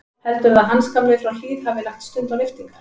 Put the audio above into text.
Heldurðu að Hans gamli frá Hlíð hafi lagt stund á lyftingar?